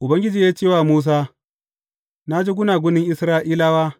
Ubangiji ya ce wa Musa, Na ji gunagunin Isra’ilawa.